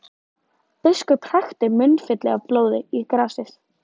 Biskup hrækti munnfylli af blóði í grasið.